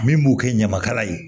Min b'u kɛ ɲamakala ye